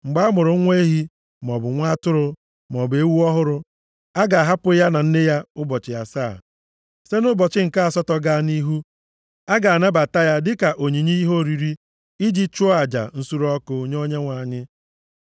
“Mgbe a mụrụ nwa ehi, maọbụ nwa atụrụ, maọbụ ewu ọhụrụ, a ga-ahapụ ya na nne ya ụbọchị asaa. Site nʼụbọchị nke asatọ gaa nʼihu a ga-anabata ya dịka onyinye ihe oriri i ji chụọ aja nsure ọkụ nye Onyenwe anyị.